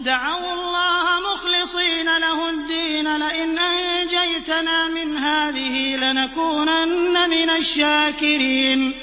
دَعَوُا اللَّهَ مُخْلِصِينَ لَهُ الدِّينَ لَئِنْ أَنجَيْتَنَا مِنْ هَٰذِهِ لَنَكُونَنَّ مِنَ الشَّاكِرِينَ